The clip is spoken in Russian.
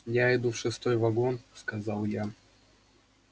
я иду в шестой вагон сказал я